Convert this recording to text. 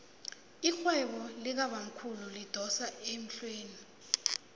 irhwebo likabamkhulu lidosa emhlweni